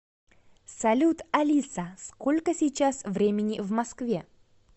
салют алиса сколько сейчас времени в москве